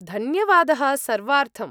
धन्यवादः सर्वार्थम्।